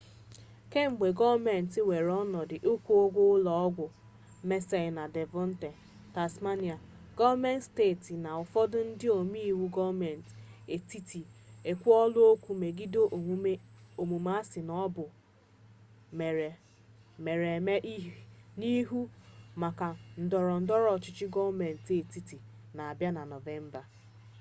kemgbe gọọmenti weere ọnọdụ ịkwụ ụgwọ ụlọ ọgwụ mersey na devọnpọt tasmania gọọmenti steeti na ụfọdụ ndị ome iwu gọọmenti etiti ekwuola okwu megide omume a sị na ọ bụ mere mere n'ihu maka ndọrọ ndọrọ ọchịchị gọọmenti etiti na-abịa na nọvemba